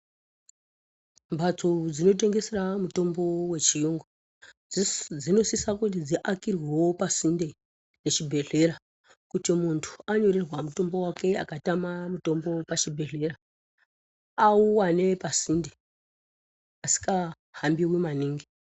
Mbatso dzinotengesera mutombo wechiyungu dzinosisa kuti dziakirwewo pasinde pechibhedhlera kuti munhu anyorerwa mutombo wake akatama mutombo pachibhedhlera, auwane pasinde, pasikahambiwi maningi.